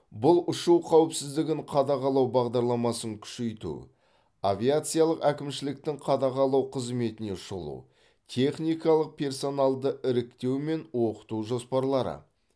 бұл ұшу қауіпсіздігін қадағалау бағдарламасын күшейту авиациялық әкімшіліктің қадағалау қызметіне шолу техникалық персоналды іріктеу мен оқыту жоспарлары